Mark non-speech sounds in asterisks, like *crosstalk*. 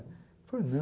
Ele falou, *unintelligible*